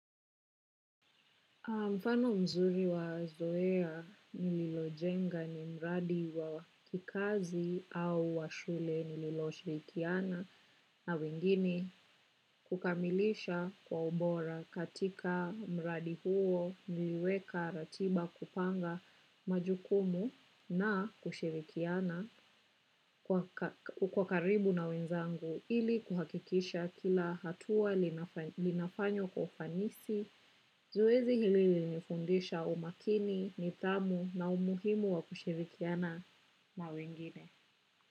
Mfano mzuri wa zoea nililojenga ni mradi wa kikazi au wa shule nililoshirikiana na wengine kukamilisha kwa ubora katika mradi huo niliweka ratiba kupanga majukumu na kushirikiana kwa karibu na wenzangu ili kuhakikisha kila hatua linafanywa kwa ufanisi. Zoezi hili nilinifundisha umakini, nidhamu na umuhimu wa kushirikiana na wengine.